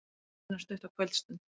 Eina stutta kvöldstund.